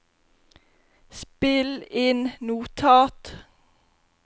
spill inn notat